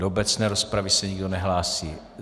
Do obecné rozprav se nikdo nehlásí.